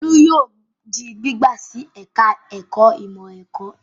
Olú yìí di gbígbà sí ẹ̀ka-ẹ̀kọ́ ìmọ̀-ẹ̀kọ́.